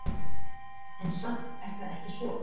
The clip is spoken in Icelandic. En samt er það ekki svo.